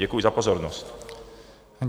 Děkuji za pozornost.